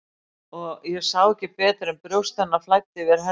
Og ég sá ekki betur en brjóst hennar flæddu yfir herðar þínar.